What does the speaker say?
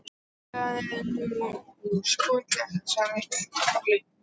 Það er nú skiljanlegt, sagði Tolli.